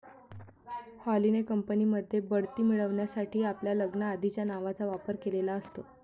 हॉलिने company मध्ये बढति मिळवण्यासाठी आपल्या लग्नाआधिच्या नावाचा वापर केलेला असतो.